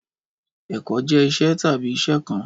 Ẹkọ jẹ iṣẹ tabi iṣẹ kan